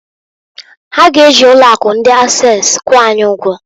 Ha g'eji ụlọ akụ ndi Ases kwụọ anyị ụgwọ.